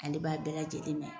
Ale b'a la bɛɛ lajɛlen mɛn .